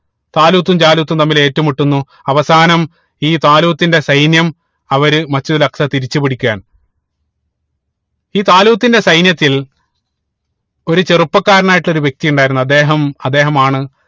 ത്വാലൂത്തും ജാലൂത്തും തമ്മിൽ ഏറ്റ് മുട്ടുന്നു അവസാനം ഈ ത്വാലൂത്തിന്റെ സൈന്യം അവര് Masjid ഉൽ അക്സ തിരിച്ചു പിടിക്കുകയാണ് ഈ ത്വാലൂത്തിന്റെ സൈന്യത്തിൽ ഒരു ചെറുപ്പക്കാരനായിട്ട് ഒരു വ്യക്തി ഉണ്ടായിരുന്നു അദ്ദേഹം അദ്ദേഹമാണ്